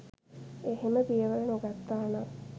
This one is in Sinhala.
එහෙම පියවර නොගත්තානම්